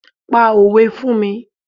Pa òwe fún mi.